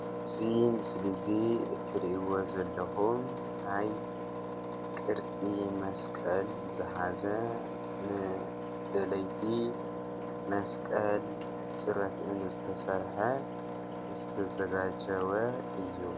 እዚ ምስሊ እዚ እትሪእዎ ዘለኩም ናይ ቅርፂ መስቐል ዝሓዘ ንደለይቲ መስቐል ፅሩብ እምኒ ዝተሰርሕ ዝተዘጋጀወ እዩ ።